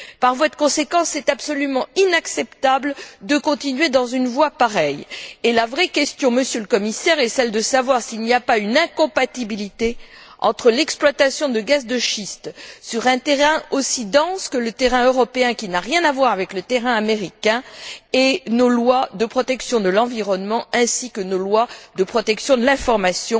Par voie de conséquence, c'est absolument inacceptable de continuer sur une voie pareille et la vraie question, Monsieur le Commissaire, est celle de savoir s'il n'y a pas une incompatibilité entre l'exploitation de gaz de schiste sur un terrain aussi dense que le terrain européen, qui n'a rien à voir avec le terrain américain, et nos lois de protection de l'environnement ainsi que nos lois de protection de l'information